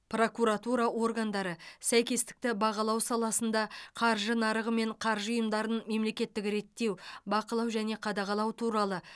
прокуратура органдары сәйкестікті бағалау саласында қаржы нарығы мен қаржы ұйымдарын мемлекеттік реттеу бақылау және қадағалау туралы